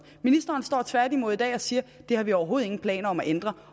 ministeren står tværtimod i dag og siger det har vi overhovedet ingen planer om at ændre